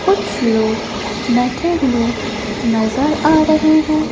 कुछ लोग बैठे हुए नजर आ रहे हैं।